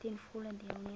ten volle deelneem